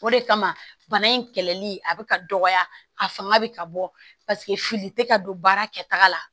O de kama bana in kɛlɛli a bɛ ka dɔgɔya a fanga bɛ ka bɔ paseke fili tɛ ka don baara kɛta la